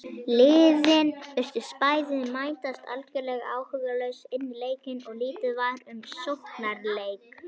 Liðin virtust bæði mætast algjörlega áhugalaus inní leikinn og lítið var um sóknarleik.